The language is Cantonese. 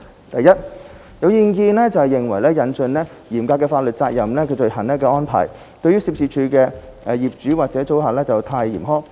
第一，有意見認為引進"嚴格法律責任罪行"的安排對涉事處所的業主或租客太嚴苛。